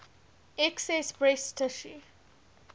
excess breast tissue